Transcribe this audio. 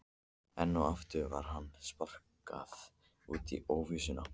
Enn og aftur var honum sparkað út í óvissuna.